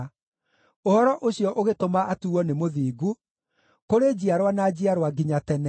Ũhoro ũcio ũgĩtũma atuuo nĩ mũthingu kũrĩ njiarwa na njiarwa nginya tene.